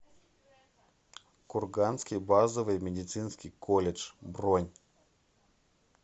курганский базовый медицинский колледж бронь